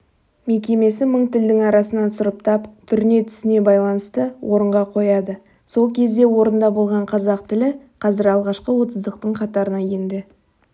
мекемесі мың тілдің арасынан сұрыптап түріне түсіне байланысты орынға қояды сол кезде орында болған қазақ тілі қазір алғашқы отыздықтың қатарына енді